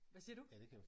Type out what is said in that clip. Hvad siger du?